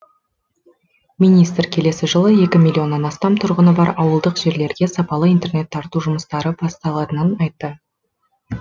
министр келесі жылы екі миллионнан астам тұрғыны бар ауылдық жерлерге сапалы интернет тарту жұмыстары басталатынын айтты